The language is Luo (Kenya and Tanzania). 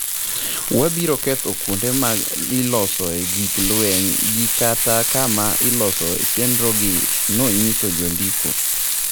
""Wabiro ketho kuonde ma ilosoe gik lweny gi kata kama ilosoe chenro gi," nonyiso jondiko.